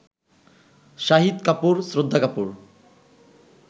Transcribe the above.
Shahid Kapoor, Shraddha Kapoor